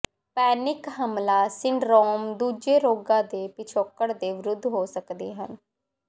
panic ਹਮਲਾ syndrome ਦੂਜੇ ਰੋਗਾਂ ਦੇ ਪਿਛੋਕੜ ਦੇ ਵਿਰੁੱਧ ਹੋ ਸਕਦੇ ਹਨ